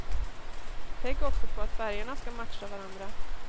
Tänk också på att färgerna ska matcha varandra.